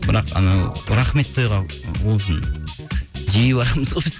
бірақ анау рахмет жиі барамыз ғой біз